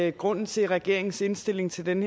at grunden til at regeringens indstilling til den